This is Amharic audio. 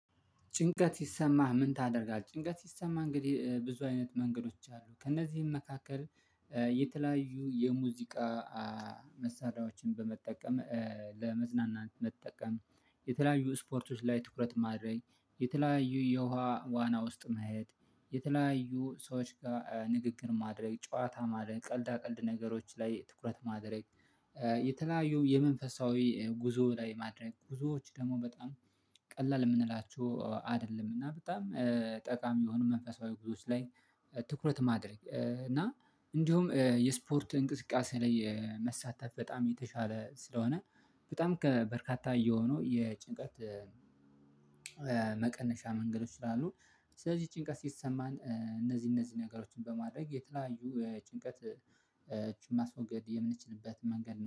ጭንቀት ሲሰማህ ምን ታደርጋለህ? ጭንቀት ሲሰማህ እንግዲህ ብዙ አይነት መንገዶች አሉ ከእነዚህም መካከል የተለያዩ የሙዚቃ መሳሪያዎችን በመጠቀም ለመዝናናንት መጠቀም የተለያዩ ስፖርቶች ላይ ትኩረት ማድረግ የተለያዩ የውሃ ዋና ውስጥ መሄድ የተለያዩ ሰዎች ጋር ንግግር ማድረግ ጨዋታ ማድረግ ቀልድ አቀልድ ነገሮች ላይ ትኩረት ማድረግ የተለያዩ የመንፈሳዊ ጉዞ ላይ ማድረግ ጉዞዎች ደግሞ በጣም ቀላል የምንላቸው አይደለም እና በጣም ጠቃሚ የሆኑ መንፈሳዊ ጉዞዎች ላይ ትኩረት ማድረግ እና እንዲሁም የስፖርት እንቅስቃሴ ላይ መሳተፍ በጣም የተሻለ ስለሆነ በጣም ከበርካታ እየሆነው የጭንቀት መቀነሻ መንገዶች አሉ። ስለዚህ ጭንቀት ሲሰማን እነዚህ እነዚህ ነገሮችን በማድረግ የተለያዩ ጭንቀት እጩን ማስወገድ የምንችልበት መንገድ